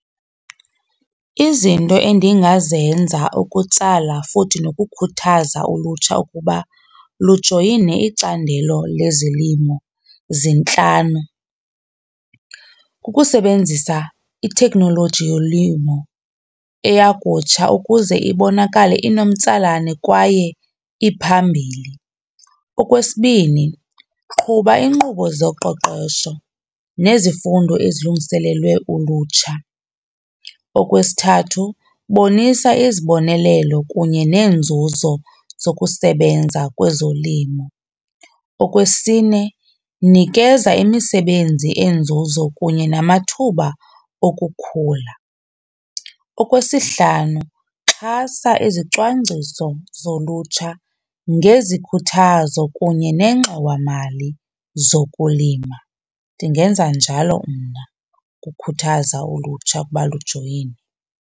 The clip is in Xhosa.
Izinto endingazenza ukutsala futhi nokukhuthaza ulutsha ukuba lujoyine icandelo lezolimo zintlanu. Kukusebenzisa iteknoloji yolimo eyakutsha ukuze ibonakale inomtsalane kwaye iphambili. Okwesibini, qhuba inkqubo zoqoqosho nezifundo ezilungiselelwe ulutsha. Okwesithathu, bonisa izibonelelo kunye neenzuzo zokusebenza kwezolimo. Okwesine, nikeza imisebenzi enzuzo kunye namathuba okukhula. Okwesihlanu, xhasa izicwangciso zolutsha ngezikhuthazo kunye nengxowamali zokulima. Ndingenza njalo mna ukukhuthaza ulutsha ukuba lujoyine.